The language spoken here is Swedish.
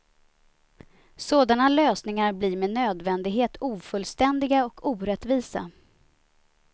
Sådana lösningar blir med nödvändighet ofullständiga och orättvisa.